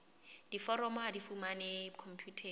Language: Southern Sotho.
diforomo ha di fumanehe khomputeng